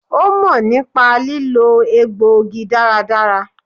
Ó mò nípa lílò egbò igi dáradára